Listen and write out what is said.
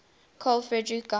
carl friedrich gauss